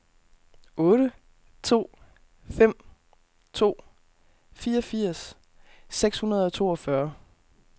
otte to fem to fireogfirs seks hundrede og toogfyrre